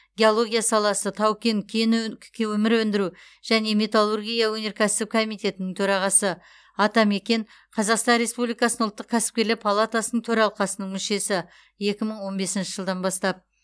геология саласы тау кен кен өн көмір өндіру және металлургия өнеркәсібі комитетінің төрағасы атамекен қазақстан республикасының ұлттық кәсіпкерлер палатасының төралқасының мүшесі екі мың он бесінші жылдан бастап